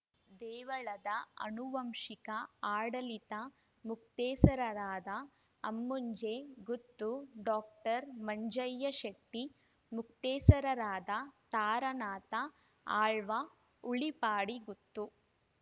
ದೇವಳದ ಅನುವಂಶಿಕ ಆಡಳಿತ ಮೊಕ್ತೇಸರರಾದ ಅಮ್ಮುಂಜೆ ಗುತ್ತು ಡಾಕ್ಟರ್ ಮಂಜಯ್ಯ ಶೆಟ್ಟಿ ಮೊಕ್ತೇಸರರಾದ ತಾರನಾಥ ಆಳ್ವ ಉಳಿಪಾಡಿಗುತ್ತು